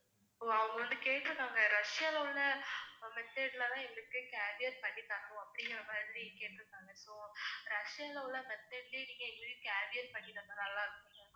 ஓ அவங்கள்ட கேட்ருக்காங்க ரஷ்யால உள்ள, method ல தான் எங்களுக்கு cavier பண்ணித்தரணும் அப்படிங்கமாதிரி கேட்ருக்காங்க. so ரஷ்யால உள்ள method லே நீங்க எங்களுக்கு cavier பண்ணி தந்தா நல்லா இருக்கும்.